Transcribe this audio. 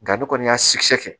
Nga ne kɔni y'a kɛ